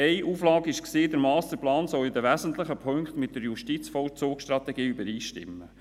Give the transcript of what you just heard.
Eine Auflage war, der Masterplan solle in den wesentlichen Punkten mit der JVS übereinstimmen.